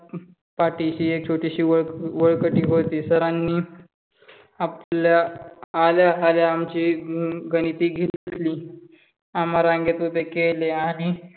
पाठीशी अक छोटीशी वळकटी होती. सराणी आल्या आल्या आमची गणिती घेतली. आम्हा रांगेत उभे केले.